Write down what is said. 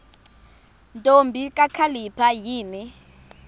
ntombi kakhalipha yini